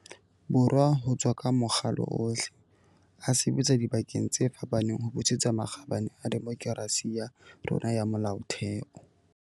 Borwa ho tswa ka makgalo ohle, a sebetsa dibakeng tse fapaneng ho busetsa makgabane a demokerasi ya rona ya molaotheo.